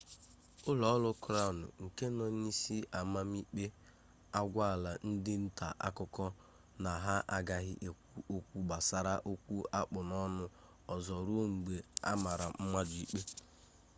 ụlọ ọrụ krawn nke nọ n'isi amamikpe agwala ndị nta akụkọ na ha agaghị ekwu okwu gbasara okwu akpụ n'ọnụ ozo ruo mgbe amara mmadụ ikpe